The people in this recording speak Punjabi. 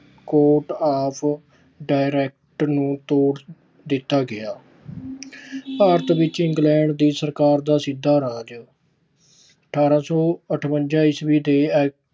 court ਆਦਿ direct ਨੂੰ ਤੋੜ ਦਿੱਤਾ ਗਿਆ। ਭਾਰਤ ਵਿੱਚ ਇੰਗਲੈਂਡ ਦੀ ਸਰਕਾਰ ਦਾ ਸਿੱਧਾ ਰਾਜ- ਅਠਾਰਾਂ ਸੌ ਅਠਵੰਜਾ ਈਸਵੀ ਦੇ act